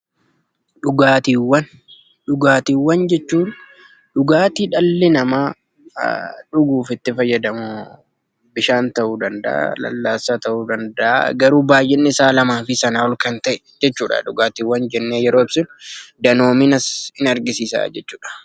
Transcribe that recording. Dhugaatiiwwan: Dhugaatiiwwan jechuun dhugaatii dhalli namaa dhuguuf itti fayyadamu bishaan ta'uu danda'aa, lallaassaa ta'uu danda'aa garuu baayyinni isaa lamaafi sanaa ol kan ta'e jechuudha. Dhugaatiiwwan jennee yeroo ibsinu danoominas ni argisiisaa jechuudha.